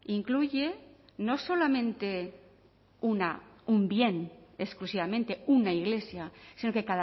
incluye no solamente un bien exclusivamente una iglesia sino que